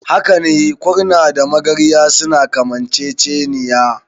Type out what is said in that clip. Hakane, kurna da magarya suna kamanceceniya.